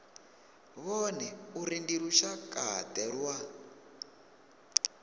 vhone uri ndi lushakade lwa